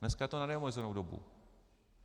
Dneska to je na neomezenou dobu.